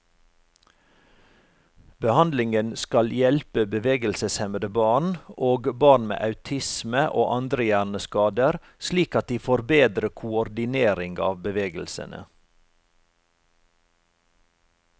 Behandlingen skal hjelpe bevegelseshemmede barn, og barn med autisme og andre hjerneskader slik at de får bedre koordinering av bevegelsene.